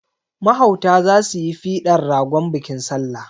Mahauta za su yi fidan ragon bikin salla.